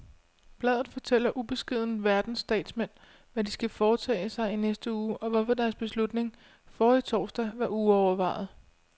Bladet fortæller ubeskedent verdens statsmænd, hvad de skal foretage sig i næste uge, og hvorfor deres beslutning forrige torsdag var uovervejet.